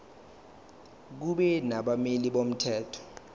kube nabameli bomthetho